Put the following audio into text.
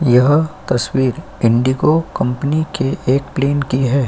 यह तस्वीर इंडिगो कंपनी के एक प्लेन की है।